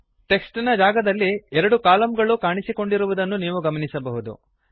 text ನ ಜಾಗದಲ್ಲಿ ಎರಡು ಕಲಮ್ ಗಳು ಕಾಣಿಸಿಕೊಂಡಿರುವುದನ್ನು ನೀವು ಗಮನಿಸಬಹುದು